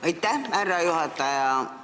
Aitäh, härra juhataja!